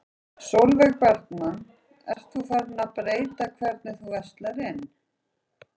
Sólveig Bergmann: Ert þú farin að breyta hvernig þú verslar inn?